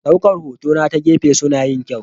Ɗaukar hotuna ta gefe suna yin kyau.